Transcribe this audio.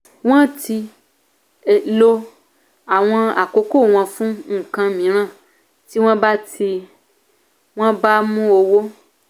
wọ́n ti lè lò akókò wọn fún nǹkan mìíràn tí wọ́n bá tí wọ́n bá mú owó.